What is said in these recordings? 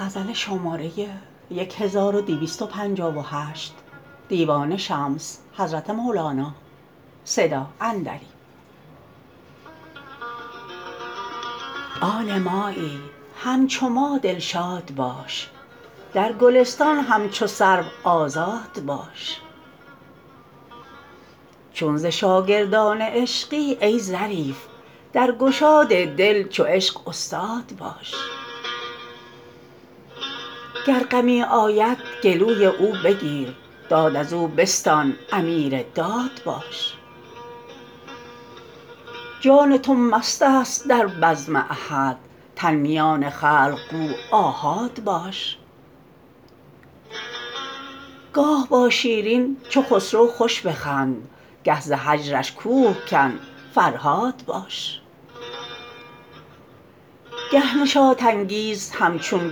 آن مایی همچو ما دلشاد باش در گلستان همچو سرو آزاد باش چون ز شاگردان عشقی ای ظریف در گشاد دل چو عشق استاد باش گر غمی آید گلوی او بگیر داد از او بستان امیر داد باش جان تو مست است در بزم احد تن میان خلق گو آحاد باش گاه با شیرین چو خسرو خوش بخند گه ز هجرش کوه کن فرهاد باش گه نشاط انگیز همچون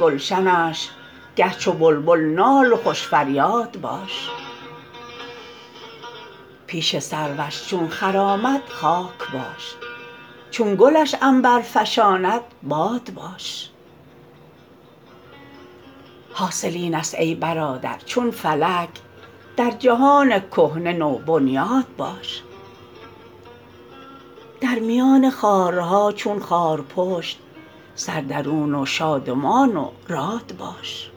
گلشنش گه چو بلبل نال و خوش فریاد باش پیش سروش چون خرامد خاک باش چون گلش عنبر فشاند باد باش حاصل اینست ای برادر چون فلک در جهان کهنه نوبنیاد باش در میان خارها چون خارپشت سر درون و شادمان و راد باش